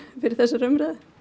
fyrir þessari umræðu